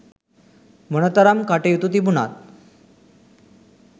මොනතරම් කටයුතු තිබුණත්